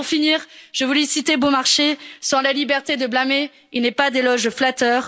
Pour finir, je voulais citer Beaumarchais sans la liberté de blâmer, il n'est pas d'éloge flatteur.